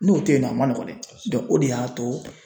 N'o tɛ yen nɔ a ma nɔgɔn dɛ o de y'a to